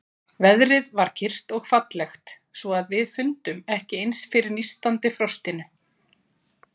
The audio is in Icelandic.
Veðrið var kyrrt og fallegt, svo að við fundum ekki eins fyrir nístandi frostinu.